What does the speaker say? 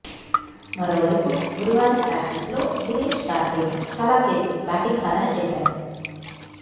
మరోవైపు గురువారం ప్రాక్టీస్లో దినేశ్ కార్తీక్ చాలాసేపు బ్యాటింగ్ సాధన చేశాడు